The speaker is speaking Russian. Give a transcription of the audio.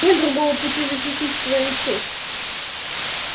нет другого пути защитить свою честь